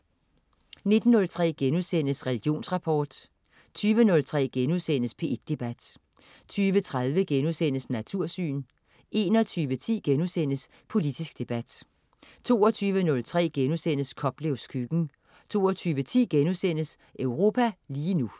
19.03 Religionsrapport* 20.03 P1 Debat* 20.30 Natursyn* 21.10 Politisk debat* 22.03 Koplevs køkken* 22.10 Europa lige nu*